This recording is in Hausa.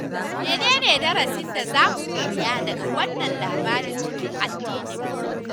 Mene ne darasin da za mu koya daga wannan labari cikin addininmu